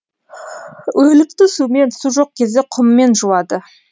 өлікті сумен су жоқ кезде құммен жуады